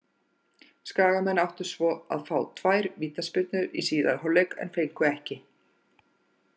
Skagamenn áttu svo að fá tvær vítaspyrnu í síðari hálfleik en fengu ekki.